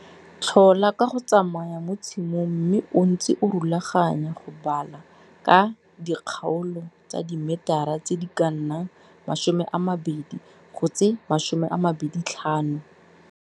Tlhola ka go tsamaya mo tshimong mme o ntse o rulaganya go bala ka dikgaolo tsa dimetara tse di ka nnang 20 go tse 25.